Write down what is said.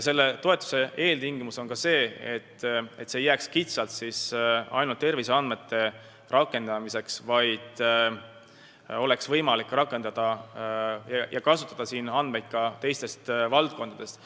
Selle toetuse eeltingimus on ka see, et ei piirdutaks kitsalt ainult terviseandmete rakendamisega, vaid oleks võimalik kasutada andmeid ka teistest valdkondadest.